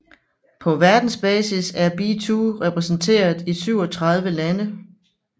På verdensbasis er be2 repræsenteret i 37 lande